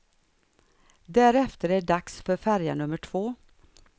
Därefter är det dags för färja nummer två.